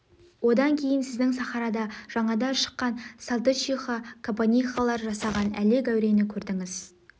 одан кейін сіздің сахарада жаңада шыққан салтычиха кабанихалар жасаған әлек әурені көрдіңіз